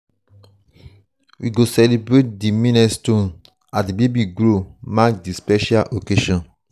we go celebrate di milestones as di baby grow mark di special occasions.